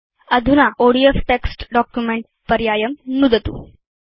अधुना ODF text document पर्यायं नुदतु